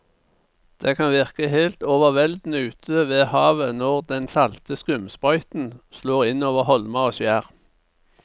Det kan virke helt overveldende ute ved havet når den salte skumsprøyten slår innover holmer og skjær.